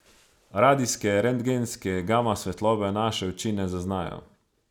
Radijske, rentgenske, gama svetlobe naše oči ne zaznajo.